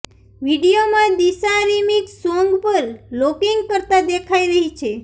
વીડિયોમાં Disha remix song પર locking કરતા દેખાઈ રહી છે